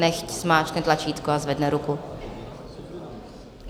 Nechť zmáčkne tlačítko a zvedne ruku.